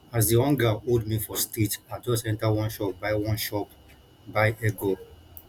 as di hunger hold me for street i just enta one shop buy one shop buy egg roll